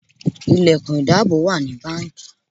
Ilẹ̀kùn ìdáàbò wà ní báńkì.